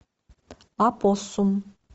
опоссум